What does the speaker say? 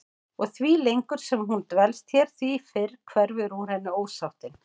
Og því lengur sem hún dvelst hér því fyrr hverfur úr henni ósáttin.